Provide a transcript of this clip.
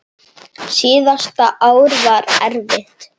Síðasta ár var erfitt.